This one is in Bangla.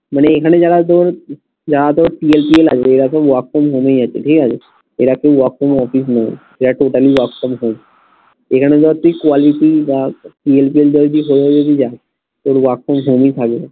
মানে এখানে যারা তোর এরা সব work from home এই আছে ঠিক আছে এরা কেউ work from office নেই এরা totally work from home এইখানে ধর তুই quality বা তোর work from home ই থাকবে